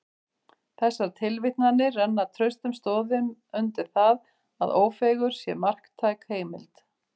Þessar tilvitnanir renna traustum stoðum undir það, að Ófeigur sé marktæk heimild.